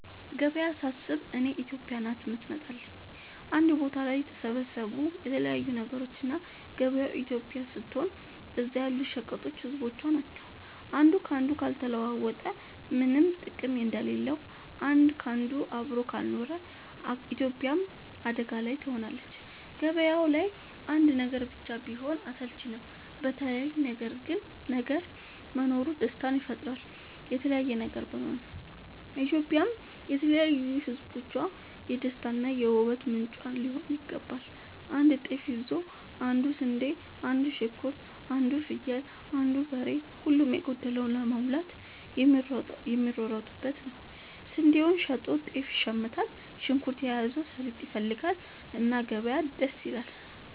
ገበያ ሳስብ እኔ ኢትዮጵያ ናት የምትመጣለኝ አንድ ቦታ ላይ የተሰባሰቡ የተለያዩ ነገሮች እና ገበያው ኢትዮጵያ ስትሆን እዛ ያሉት ሸቀጦች ህዝቦቿ ናቸው። አንዱ ካንዱ ካልተለዋወጠ ምነም ጥቅም እንደሌለው አንድ ካንዱ አብሮ ካልኖረ ኢትዮጵያም አደጋ ላይ ትሆናለች። ገባያው ላይ አንድ ነገር ብቻ ቢሆን አስልቺ ነው የተለያየ ነገር መኖሩ ደስታን ይፈጥራል። ኢትዮጵያም የተለያዩ ህዝቦቿ የደስታ እና የ ውበት ምንጯ ሊሆን ይገባል። አንዱ ጤፍ ይዞ አንዱ ስንዴ አንዱ ሽንኩርት አንዱ ፍየል አንዱ በሬ ሁሉም የጎደለውን ለመሙላት የሚሯሯጡበት ነው። ስንዴውን ሸጦ ጤፍ ይሽምታል። ሽንኩርት የያዘው ሰሊጥ ይፈልጋል። እና ገበያ ደስ ይላል።